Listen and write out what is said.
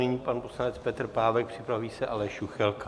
Nyní pan poslanec Petr Pávek, připraví se Aleš Juchelka.